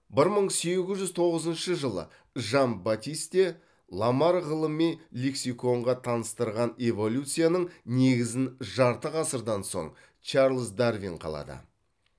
бір мың сегіз жүз тоғызыншы жылы жан батист де ламарк ғылыми лексиконға таныстырған эволюцияның негізін жарты ғасырдан соң чарльз дарвин қалады